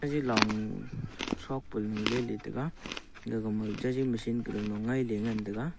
jey long thok panu ley ley taiga gaga ma jagi machine kadanlu ngai ley ngan taiga.